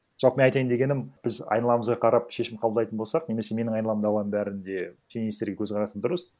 жалпы мен айтайын дегенім біз айналамызға қарап шешім қабылдайтын болсақ немесе менің айналамдағылардың бәрінде теңестерге көзқарасы дұрыс